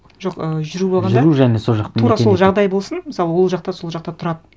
жоқ і жүру болғанда жүру және сол жақ тура сол жағдай болсын мысалы ол жақта сол жақта тұрады